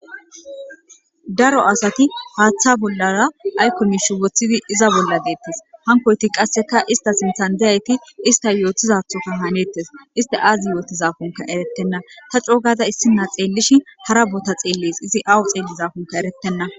Daro asati haaththa bollara aykomish woththidi iza bolla deettes hankoyti qasseka ista sinthan deyayti ista yootizathota hanettes iste aazi yootizafunka erettenna ta coogada issina xeellishi hara bota xeelles izi awu xeellizaafunka erettenna.